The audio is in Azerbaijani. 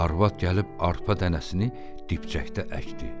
Arvad gəlib arpa dənəsini dipçəkdə əkdi.